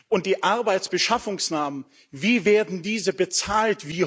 Und die Arbeitsbeschaffungsmaßnahmen, wie werden diese bezahlt?